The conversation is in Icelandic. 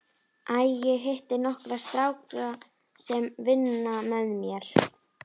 Æ, ég hitti nokkra stráka sem vinna með mér.